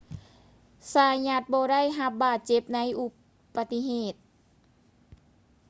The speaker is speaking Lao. ຊາຢັດ zayat ບໍ່ໄດ້ຮັບບາດເຈັບໃນອຸປະຕິເຫດ